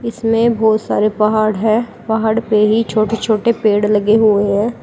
इसमें बहुत सारे पहाड़ है पहाड़ पे ही छोटे छोटे पेड़ लगे हुए हैं।